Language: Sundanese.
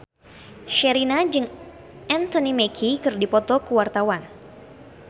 Sherina jeung Anthony Mackie keur dipoto ku wartawan